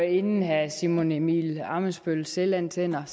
inden herre simon emil ammitzbøll selvantænder